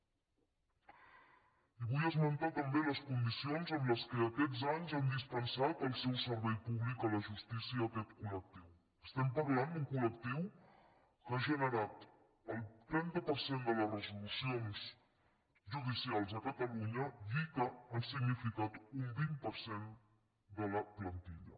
i vull esmentar també les condicions amb què aquests anys han dispensat el seu servei públic a la justícia aquest colgenerat el trenta per cent de les resolucions judicials a catalunya i que han significat un vint per cent de la plantilla